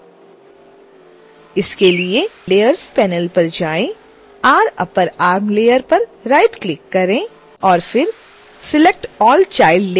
इसके लिए layers panel पर जाएं rupperarm layer पर राइटक्लिक करें और फिर select all child layers पर क्लिक करें